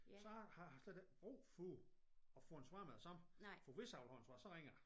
Så har jeg slet ikke brug for at få et svar med det samme for hvis jeg vil have et svar så ringer jeg